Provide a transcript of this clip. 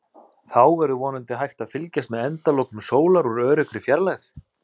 Þá verður vonandi hægt að fylgjast með endalokum sólar úr öruggri fjarlægð.